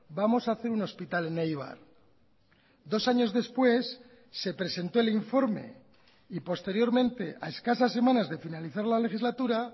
vamos a hacer un hospital en eibar dos años después se presentó el informe y posteriormente a escasas semanas de finalizar la legislatura